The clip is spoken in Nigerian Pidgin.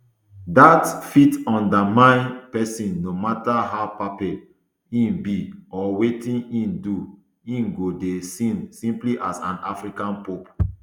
dat fit undermine pesin no matter how papal im be or wetin im do im go dey seen simply as an african pope